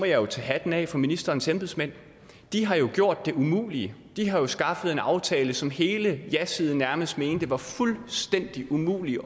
jeg tage hatten af for ministerens embedsmænd de har jo gjort det umulige de har skaffet en aftale som hele jasiden nærmest mente det var fuldstændig umuligt at